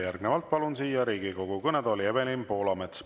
Järgnevalt palun siia Riigikogu kõnetooli Evelin Poolametsa.